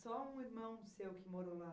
Só um irmão seu que morou lá?